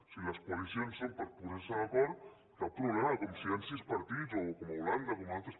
si les coalicions són per posar se d’acord cap problema com si hi han sis partits com a holanda o com a altres